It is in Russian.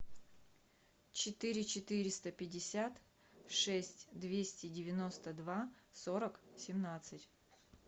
четыре четыреста пятьдесят шесть двести девяносто два сорок семнадцать